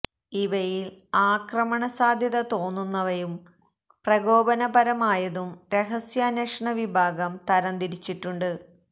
ഇവയിൽ ആക്രമണ സാധ്യത തോന്നുന്നവയും പ്രകോപന പരമായതും രഹസ്യാന്വേഷണ വിഭാഗം തരം തിരിച്ചിട്ടുണ്ട്